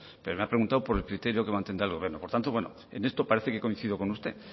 pero me ha preguntado por el criterio que mantendrá el gobierno por tanto bueno en esto parece que coincido con usted